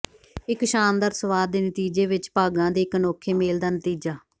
ਇੱਕ ਸ਼ਾਨਦਾਰ ਸਵਾਦ ਦੇ ਨਤੀਜੇ ਵਿੱਚ ਭਾਗਾਂ ਦੇ ਇੱਕ ਅਨੋਖੇ ਮੇਲ ਦਾ ਨਤੀਜਾ